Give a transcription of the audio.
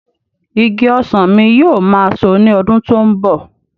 Igi ọsàn mi yóò máa so ní ọdún tó ń bọ̀.